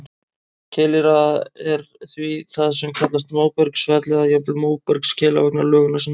Keilir er því það sem kallast móbergsfell, eða jafnvel móbergskeila vegna lögunar sinnar.